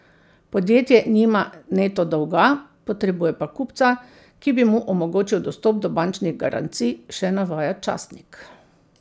Podjetje nima neto dolga, potrebuje pa kupca, ki bi mu omogočil dostop do bančnih garancij, še navaja časnik.